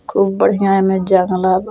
खूब बढ़िया एमें जंगला बा।